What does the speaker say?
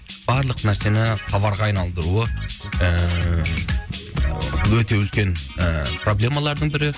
барлық нәрсені товарға айналдыруы ііі өте үлкен ііі проблемалардың бірі